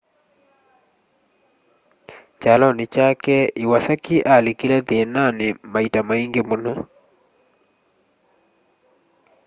kyalonĩ kyake iwasaki alikile thĩĩnaanĩ maita maingĩ mũno